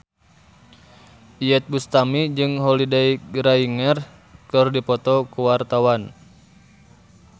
Iyeth Bustami jeung Holliday Grainger keur dipoto ku wartawan